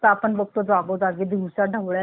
दिवसा ढवळ्या लहान मुलंमुली